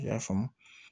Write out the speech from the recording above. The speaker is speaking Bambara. I y'a faamu